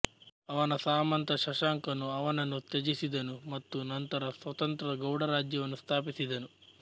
ಅವನ ಸಾಮಂತ ಶಶಾಂಕನೂ ಅವನನ್ನು ತ್ಯಜಿಸಿದನು ಮತ್ತು ನಂತರ ಸ್ವತಂತ್ರ ಗೌಡ ರಾಜ್ಯವನ್ನು ಸ್ಥಾಪಿಸಿದನು